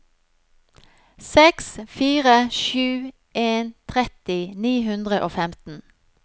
seks fire sju en tretti ni hundre og femten